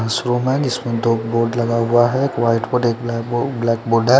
इसमें दो बोर्ड लगा हुआ है एक वाइट बोर्ड है एक ब्लैक बो ब्लैक बोर्ड है।